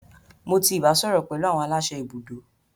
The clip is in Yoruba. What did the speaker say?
Mo ti ibasọrọ pẹlu awọn alase ibudo.